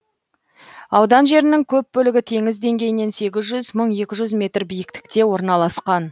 аудан жерінің көп бөлігі теңіз деңгейінен сегіз жүз мың екі жүз метр биікте орналасқан